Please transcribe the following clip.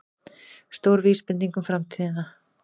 Stór vísbending um framtíðina